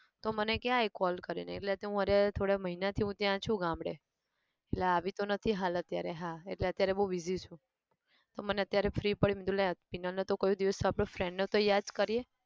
તો મને કેહ આય call કરીને એટલે તો હું અત્યારે થોડા મહિના થી હું ત્યાં છું ગામડે એટલે આવી તો નથી હાલ અત્યારે હા એટલે અત્યારે બઉ busy છું તો મને અત્યારે free પડી મેં કીધું લાય પીનલ ને તો કોઈ દિવસ તો આપણા friend નો તો યાદ કરીએ